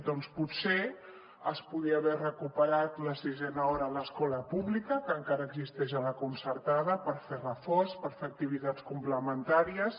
doncs potser es podria haver recuperat la sisena hora a l’escola pública que encara existeix a la concertada per fer reforç per fer activitats complementàries